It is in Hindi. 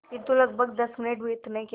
किंतु लगभग दस मिनट बीतने के